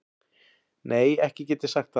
Nei ekki get ég sagt það.